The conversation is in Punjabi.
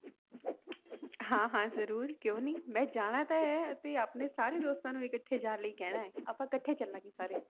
ਹਾਂ ਹਾਂ ਜ਼ਰੂਰ ਕਿਉਂ ਨੀ ਮੈਂ ਜਾਣਾ ਤਾਂ ਹੈ ਅਸੀਂ ਆਪਣੇ ਸਾਰੇ ਦੋਸਤਾਂ ਨੂੰ ਇਕੱਠੇ ਜਾਣ ਲਈ ਕਹਿਣਾ ਹੈ, ਆਪਾਂ ਇਕੱਠੇ ਚੱਲਾਂਗੇ ਸਾਰੇ।